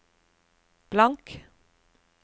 blank